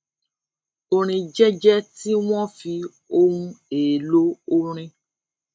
orin jẹjẹ tí wón fi ohun èèlò orin